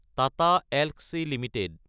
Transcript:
Tata Elxsi Ltd